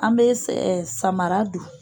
An bɛ sɛ samara don